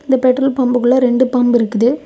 இந்த பெட்ரோல் பாம்புக்குள்ள ரெண்டு பம்ப் இருக்குது.